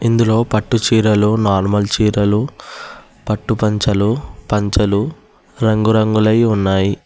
ఇందులో పట్టు చీరలు నార్మల్ చీరలు పట్టు పంచలు పంచలు రంగురంగులై ఉన్నాయి.